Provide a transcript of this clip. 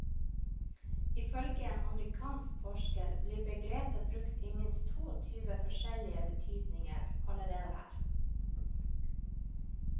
Ifølge en amerikansk forsker blir begrepet brukt i minst toogtyve forskjellige betydninger allerede her.